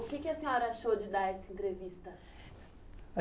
O que que a senhora achou de dar essa entrevista?